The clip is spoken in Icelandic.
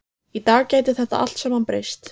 Í dag gæti þetta allt saman breyst.